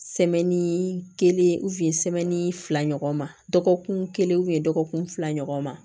kelen fila ɲɔgɔn ma dɔgɔkun kelen dɔgɔkun fila ɲɔgɔn ma